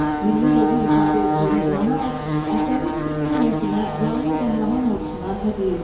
Milli ruhu ifadə etdiyinə inanaraq əsəri Türk millətinə və onun qəhrəman ordusuna hədiyyə edib.